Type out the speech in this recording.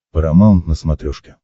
парамаунт на смотрешке